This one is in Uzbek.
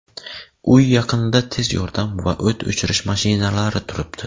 Uy yaqinida tez yordam va o‘t o‘chirish mashinalari turibdi.